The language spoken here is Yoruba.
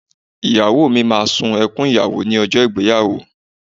Ìyàwó mi máa sun ẹkùn ìyàwó ní ọjọ́ ìgbéyàwó